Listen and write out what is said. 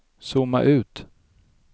zooma ut